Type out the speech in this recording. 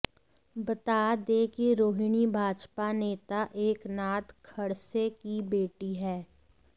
बता दें कि रोहिणी भाजपा नेता एकनाथ खड़से की बेटी हैं